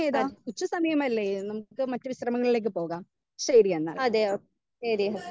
Speaker 1 അതെ അതെയോ ശരി. എന്നാ